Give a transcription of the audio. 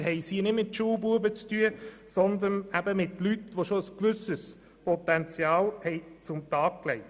Wir haben es hier nicht mit Schulbuben zu tun, sondern mit Leuten, die schon ein gewisses Potenzial an den Tag gelegt haben.